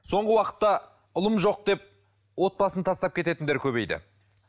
соңғы уақытта ұлым жоқ деп отбасын тастап кететіндер көбейді